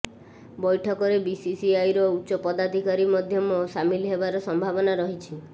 ବୈଠକରେ ବିସିସିଆଇର ଉଚ୍ଚ ପଦାଧିକାରୀ ମଧ୍ୟ ସାମିଲ ହେବାର ସମ୍ଭାବନା ରହିଛି